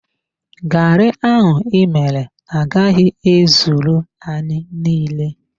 Garri ahụ ịmere agaghị ezuru anyị niile.